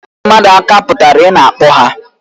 Ịtụ mmadụ aka pụtara na ị na-akpọ ha